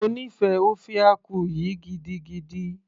mo nífẹ̀ẹ́ ofe akwu yìí gidigidi